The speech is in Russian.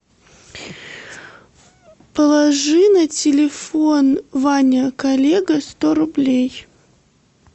положи на телефон ваня коллега сто рублей